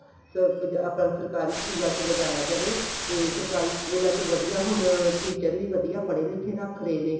ਤਾ ਆਪਾਂ ਸਰਕਾਰੀ ਸਕੂਲਾ ਚ ਲਗਾਇਆ ਜਾਵੇ ਤੇ ਸਰਕਾਰੀ school ਵਧੀਆ ਹੁਣ teacher ਵੀ ਵਧੀਆ ਪੜੇ ਲਿੱਖੇ ਰੱਖ ਰਹੇ ਨੇ